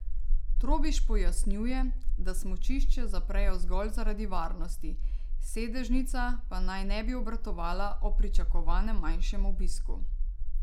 Trobiš pojasnjuje, da smučišče zaprejo zgolj zaradi varnosti, sedežnica pa naj ne bi obratovala ob pričakovanem manjšem obisku.